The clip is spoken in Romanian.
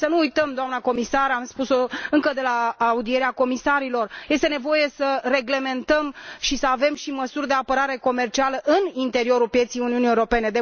Și să nu uităm, doamnă comisar, am spus o încă de la audierea comisarilor este nevoie să reglementăm și să avem și măsuri de apărare comercială în interiorul pieței Uniunii Europene